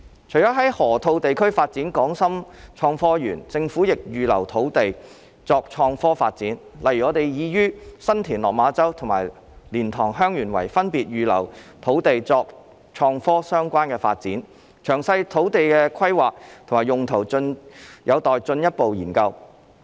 除了在河套地區發展港深創科園，政府亦預留土地作創科發展，例如我們已於新田/落馬洲及蓮塘/香園圍分別預留土地作創科相關發展，詳細土地規劃及用途有待進一步研究。